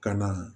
Ka na